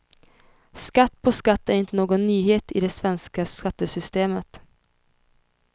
Skatt på skatt är inte någon nyhet i det svenska skattesystemet.